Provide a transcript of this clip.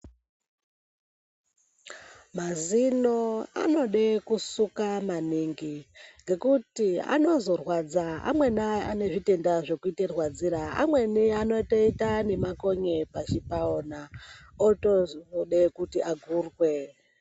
Mazino anode kusuka maningi ngekuti anozorwadza. Amweni ane zvitenda zvekuzvirwadzira. Amweni anotoita makonye pazino paona otozoda kuti agurwe.